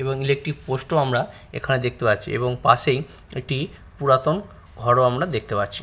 এবং electric post ও আমরা এখানে দেখতে পাচ্ছি এবং পাশে একটি পুরাতন ঘর ও আমরা দেখতে পাচ্ছি।